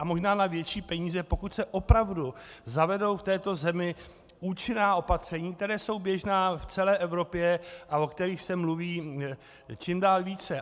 A možná na větší peníze, pokud se opravdu zavedou v této zemi účinná opatření, která jsou běžná v celé Evropě a o kterých se mluví čím dál více.